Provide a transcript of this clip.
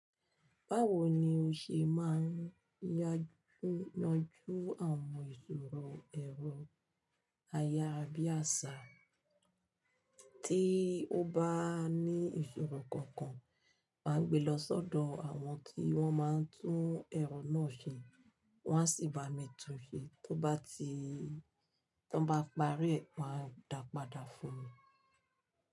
Báwo ni o ṣe máa ń yanjú àwọn ìṣòro ẹ̀rọ aya bí àṣá, tí o bá ní ìṣòro kankan máa gbé lọ sọ́dọ̀ àwọn tí wọ́n máa ń tún ẹ̀rọ náà ṣe, wọ́n á sì bá mi tún un ṣe, tó bá ti tí wọ́n bá parí rẹ̀ máa ń dá padà fún mi.